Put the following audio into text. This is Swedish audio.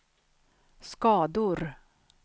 skador